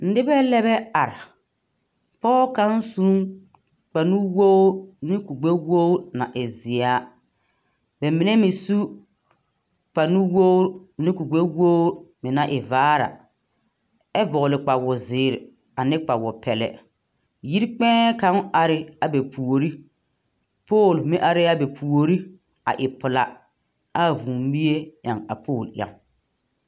Nebɛ lɛbɛ are. Pɔge kaŋ su ne kpare nuwogiri ne kuri gbɛwogiri na e zeɛa. Ba mine meŋ su kpare nuwogirine kuri gbɛwogiri naŋ e vaare a. ɛ vɔgele kpawo zeere ane kpawo pɛlɛ. Yiri kpɛɛ kaŋ are abɛ puori. Pooli meŋ are a bɛpuori a e pelaa, ɛ a vũũ mie yaŋ a pooli yaŋ.